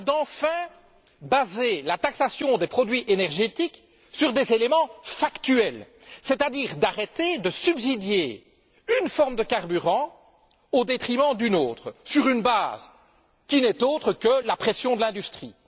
On vous parle de baser enfin la taxation des produits énergétiques sur des éléments factuels, c'est à dire d'arrêter de subsidier une forme de carburant au détriment d'une autre sur une base qui n'est autre que la pression de l'industrie.